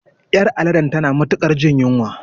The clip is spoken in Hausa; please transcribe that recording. Ƴar aladen tana matuƙar jin yunwa